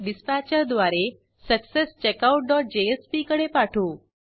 total copies आणि available copies अनुक्रमे tot copies आणि अवेलकॉपीज मधे संचित करू